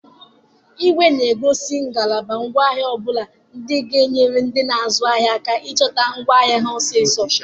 Ìgwè na-egosi ngalaba ngwa ahịa ọ bụla dị ga-enyere ndị na-azụ ahịa aka ịchọta ngwa ahịa ọsịsọ.